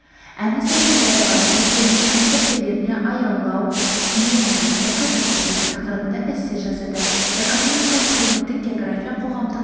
әні сәкен дәрібаев дәптермен жұмыс дәптерлеріне аялау мейірімділікті қажет етеді тақырыбында эссе жазады экономикалық-әлеуметтік география қоғамдық